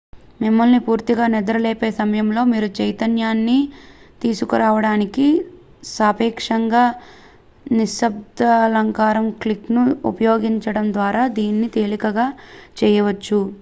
మిమ్మల్ని పూర్తిగా నిద్రలేపే సమయంలో మీరు చైతన్యాన్ని తీసుకురావడానికి సాపేక్షంగా నిశ్శబ్దఅలారం క్లాక్ ను ఉపయోగించడం ద్వారా దీనిని తేలికగా చేయవచ్చు